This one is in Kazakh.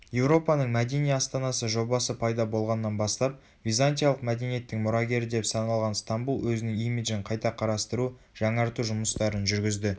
еуропаның мәдени астанасы жобасы пайда болғаннан бастап византиялық мәдениеттің мұрагері деп саналған стамбул өзінің имиджін қайта қарастыру жаңарту жұмыстарын жүргізді